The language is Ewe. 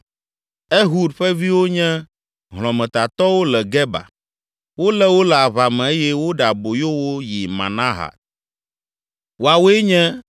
Ehud ƒe viwo nye hlɔ̃metatɔwo le Geba. Wolé wo le aʋa me eye woɖe aboyo wo yi Manahat. Woawoe nye: